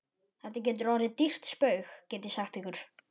Þetta getur orðið ykkur dýrt spaug, get ég sagt ykkur!